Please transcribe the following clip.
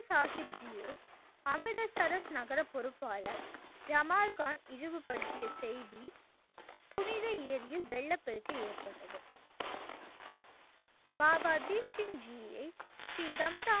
சாஹிப் ஜி ஐ அமுத சரஸ் நகர பொறுப்பாளர் ஜமால்கான் இழிவு படுத்திய செய்தி புனித ஏரியில் வெள்ளப்பெருக்கு ஏற்பட்டது. பாபா தீப் சிங் ஜி யை ஸ்ரீ தம்தா